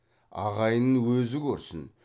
ағайынын өзі көрсін